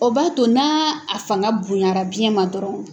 O b'a to na a fanga bonyara biyɛn ma dɔrɔn